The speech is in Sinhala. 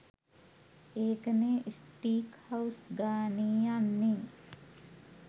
ඒක නේ ස්ටීක් හවුස් ගානේ යන්නේ